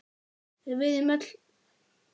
Við viljum öll það sama.